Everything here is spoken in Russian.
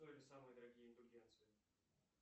самые дорогие индульгенции